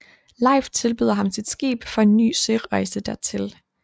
Leif tilbyder ham sit skib for en ny sørejse dertil